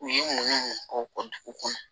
U ye munu munu k'u ka dugu dugu kɔnɔ